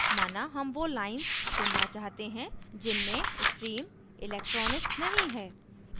माना हम वो lines चुनना चाहते हैं जिनमें stream electronics नहीं है